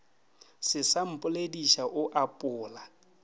se sa mpolediša o apola